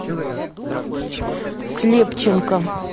слепченко